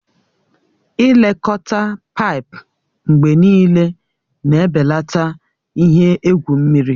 Ị lekọta paipu mgbe niile na-ebelata ihe egwu mmiri.